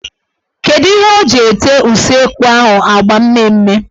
Kedu ihe o ji ete useekwu ahụ agba mmee mme.